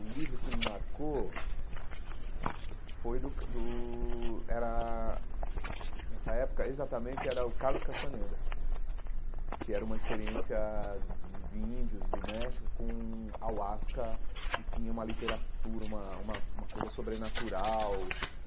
O livro que me marcou foi do Car do... Era nessa época, exatamente, era o Carlos Castaneda, que era uma experiência de de índios do México com ahuasca e tinha uma literatura, uma uma uma coisa sobrenatural.